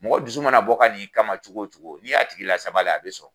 Mɔgɔ dusu mana bɔ ka n'i kama cogo cogo, ni y'a tigi la sabali a be sɔn.